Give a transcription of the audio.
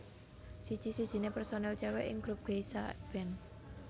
Siji sijine personil cewek ing grup Geisha band